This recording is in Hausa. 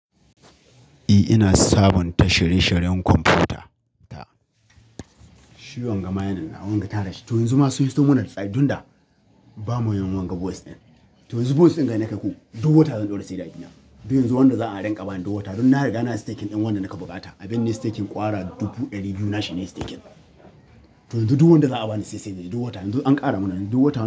Eh, ina sabonta shirye shiryen kwamfuta ta. Shi wanga mayan nan, wanga tanashi. To yanzu ma sun yi stamuna lissaɗi, dunda bamu yi wanga bus ɗin. To yanzu voice ɗin gare ni ka yi ko? Dubu wata zan ɗora sai da ajiya. Beyin zuwa wanda za a yi danƙaba ni dubu wata. Don na riga na yi steking ɗin wanda nake bukata. Abin ne steking ƙwara dubu ɗari biyu nashi ne steking. To yanzu duk wanda za a ba ni CC ne dubu wata. Yanzu an ƙara mana dubu wata.